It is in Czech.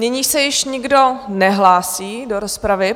Nyní se již nikdo nehlásí do rozpravy.